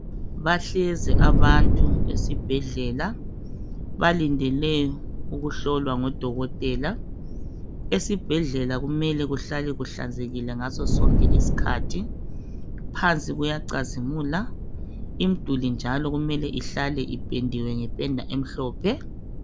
Bahlezi abantu esibhedlela balindele ukuhlolwa ngo dokotela. Esibhedlela kumele kuhlale kuhlanzekile ngaso sonke isikhathi phansi kuyacazimula imduli njalo kumele ihlale ipendiwe ngependa emhlophe.